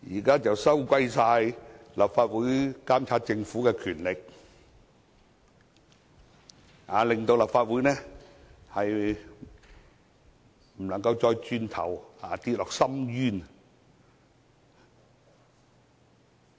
他們說現在立法會監察政府的權力被收回，令立法會無法走回頭，墮入深淵。